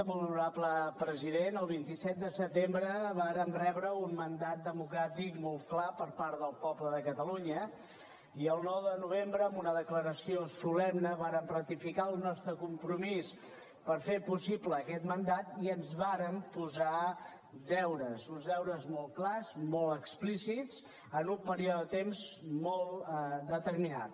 molt honorable president el vint set de setembre vàrem rebre un mandat democràtic molt clar per part del poble de catalunya i el nou de novembre amb una declaració solemne vàrem ratificar el nostre compromís per fer possible aquest mandat i ens vàrem posar deures uns deures molt clars molt explícits en un període de temps molt determinat